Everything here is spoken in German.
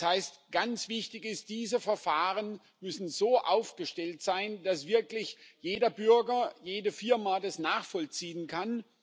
Das heißt, ganz wichtig ist Diese Verfahren müssen so aufgestellt sein, dass wirklich jeder Bürger, jede Firma das nachvollziehen kann.